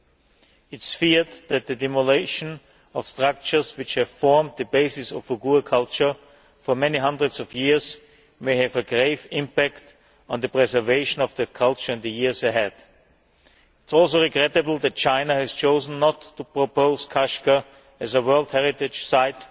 It is feared that the demolition of structures which have formed the basis of Uyghur culture for many hundreds of years may have a grave impact on the preservation of their culture in the years ahead. It is also regrettable that China has chosen not to propose Kashgar as a world heritage site